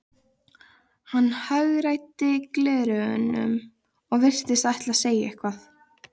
Hann hagræddi gleraugunum og virtist ætla að segja eitthvað.